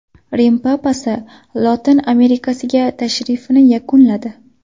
Rim papasi Lotin Amerikasiga tashrifini yakunladi.